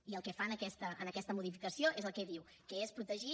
i el que fa en aquesta modificació és el que diu que és protegir